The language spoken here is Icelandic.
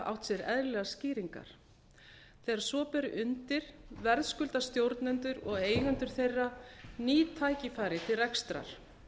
átt sér eðlilegar skýringar þegar svo ber undir verðskulda stjórnendur og eigendur þeirra ný tækifæri til rekstrar